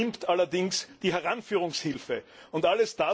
Sie nimmt allerdings die Heranführungshilfe in Anspruch.